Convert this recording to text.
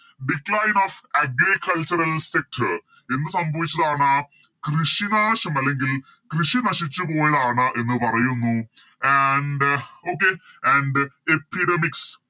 Decline of agricultural sector ഇന്ന് സംഭവിച്ചതാണ് കൃഷി നാശം അല്ലെങ്കിൽ കൃഷി നശിച്ച് പോയതാണ് എന്ന് പറയുന്നു And okay and epidemics